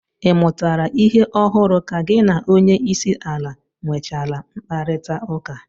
Ị mụtara ihe ọhụrụ ka gị na onyeisiala nwechaala mkparịtaụka?